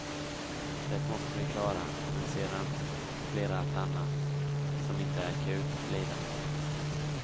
Det måste vi klara, men sedan blir allt annat, som inte är akut, lidande.